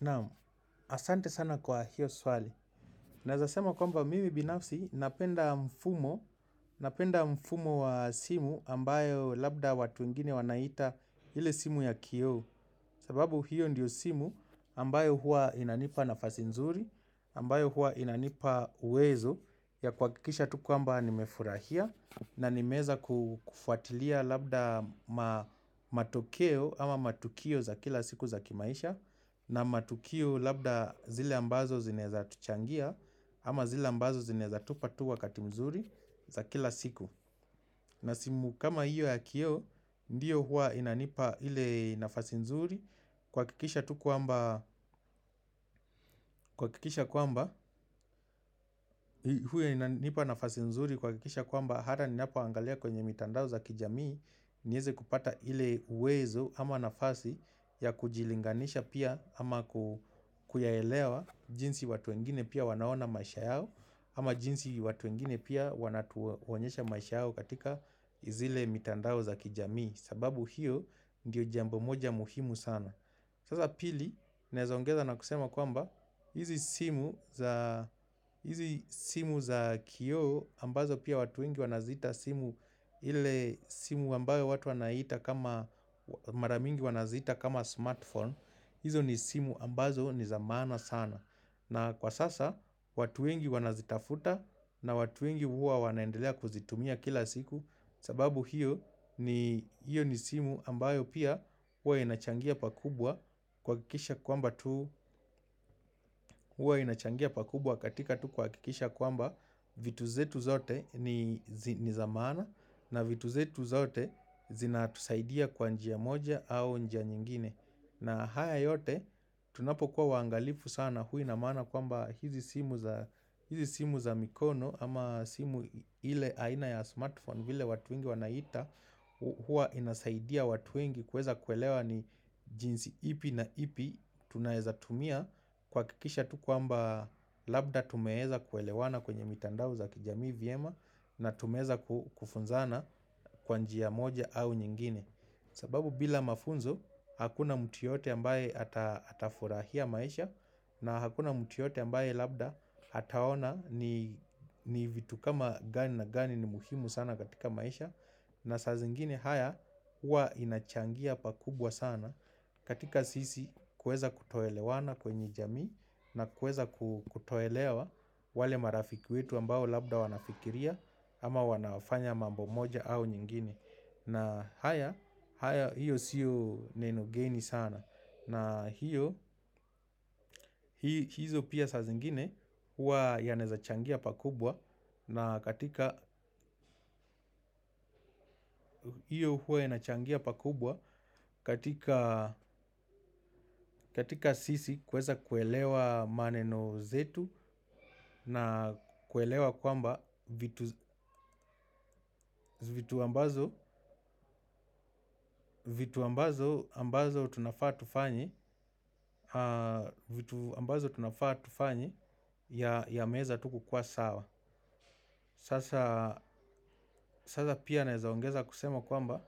Naam asante sana kwa hiyo swali. Naezasema kwamba mimi binafsi napenda mfumo. Napenda mfumo wa simu ambayo labda watu wengine wanaita hile simu ya kioo. Sababu hiyo ndiyo simu ambayo hua inanipa nafasi nzuri ambayo hua inanipa uwezo ya kuhakikisha tu kwamba nimefurahia. Na nimeeza kufuatilia labda matokeo ama matukio za kila siku za kimaisha. Na matukio labda zile ambazo zinaeza tuchangia ama zile ambazo zinaeza tupa tu wakati mzuri za kila siku. Na simu kama iyo ya kioo, ndiyo huwa inanipa ile nafasi mzuri. Kuhakikisha tu kwamba, huwa inanipa nafasi nzuri kuhakikisha kwamba hata ninapo angalia kwenye mitandao za kijamii nieze kupata ile uwezo ama nafasi ya kujilinganisha pia. Ama kuyaelewa jinsi watu wengine pia wanaona maisha yao. Ama jinsi watu wengine pia wanatuonyesha maisha yao katika izile mitandao za kijami. Sababu hiyo ndiyo jambo moja muhimu sana. Sasa pili, naeza ongeza na kusema kwamba hizi simu za kioo ambazo pia watu wengi wanazita simu ile simu ambayo watu wanaita kama maramingi wanazita kama smartphone. Hizo ni simu ambazo ni zamana sana na kwa sasa watu wengi wanazitafuta na watu wengi huwa wanaendelea kuzitumia kila siku sababu hiyo ni hiyo ni simu ambayo pia huwa inachangia pakubwa kuhakikisha kwamba tu huwa inachangia pakubwa katika tu kuhakikisha kwamba vitu zetu zote ni zamana na vitu zetu zote zina tusaidia kwa njia moja au njia nyingine. Na haya yote tunapo kuwa wangalifu sana huwaina maana kwa mba hizi simu za mikono ama simu ile aina ya smartphone vile watu wengi wanaita huwa inasaidia watu wengi kuweza kuelewa ni jinsi ipi na ipi tunaeza tumia kuhakikisha tu kwamba labda tumeeza kuelewana kwenye mitandao za kijamii vyema na tumeeza kufunzana kwa njia moja au nyingine. Sababu bila mafunzo hakuna mtu yeyote ambaye atafurahia maisha na hakuna mtu yote ambaye labda ataona ni vitu kama gani na gani ni muhimu sana katika maisha. Na sa zingine haya uwa inachangia pakubwa sana katika sisi kueza kutoelewana kwenye jamii na kueza kutoelewa wale marafiki wetu ambao labda wanafikiria ama wanafanya mambo moja au nyingine. Na haya, haya hiyo siyo neno geni sana. Na hiyo, hizo pia sa zingine huwa ya naezachangia pakubwa. Na katika hiyo huwa ina changia pakubwa katika katika sisi kweza kuelewa maneno zetu. Na kuelewa kwamba vitu vitu ambazo vitu ambazo ambazo tunafaa tufanye vitu ambazo tunafaa tufanye. Ya meza tuku kukuwa sawa. Sasa pia naezaongeza kusema kwamba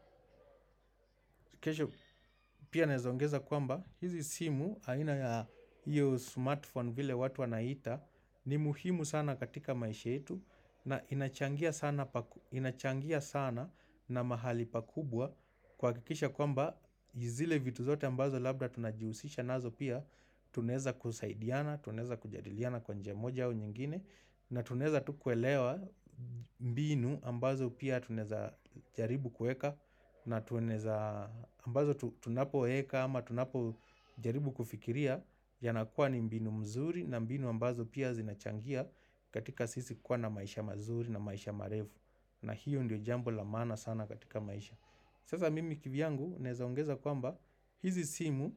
pia naezaongeza kwamba hizi simu, aina ya iyo smartphone vile watu wanaita. Ni muhimu sana katika maisha yetu. Na inachangia sana inachangia sana na mahali pakubwa. Kuhakikisha kwamba yizile vitu zote ambazo labda tunajiusisha nazo pia. Tunaeza kusaidiana, tunaeza kujadiliana kwa njia moja au nyingine. Na tunaeza tukuelewa mbinu ambazo pia tunaeza jaribu kueka. Na tunaeza ambazo tunapo weka ama tunapo jaribu kufikiria. Ya nakuwa ni mbinu mzuri na mbinu ambazo pia zinachangia. Katika sisi kuwa na maisha mazuri na maisha marefu. Na hiyo ndiyo jambo lamaana sana katika maisha. Sasa mimi kivyangu naeza ongeza kwamba hizi simu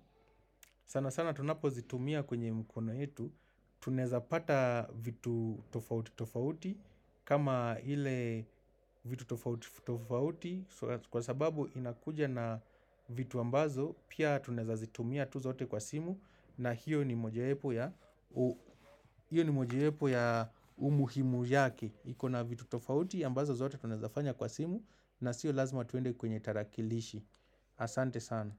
sana sana tunapo zitumia kwenye mkono yetu. Tunaeza pata vitu tofauti tofauti kama hile vitu tofauti tofauti. Kwa sababu inakuja na vitu ambazo pia tunaeza zitumia tu zote kwa simu. Na hiyo ni moja wepo ya umuhimu yake. Ikona vitu tofauti ambazo zote tunaezafanya kwa simu. Na sio lazima tuende kwenye tarakilishi. Asante sana.